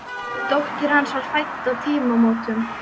Dóttir hans var fædd á tímamótum.